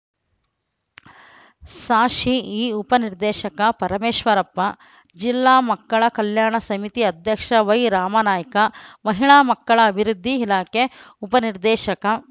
ಸಾಶಿಇ ಉಪ ನಿರ್ದೇಶಕ ಪರಮೇಶ್ವರಪ್ಪ ಜಿಲ್ಲಾ ಮಕ್ಕಳ ಕಲ್ಯಾಣ ಸಮಿತಿ ಅಧ್ಯಕ್ಷ ವೈರಾಮನಾಯ್ಕ ಮಹಿಳಾ ಮಕ್ಕಳ ಅಭಿವೃದ್ಧಿ ಇಲಾಖೆ ಉಪ ನಿರ್ದೇಶಕ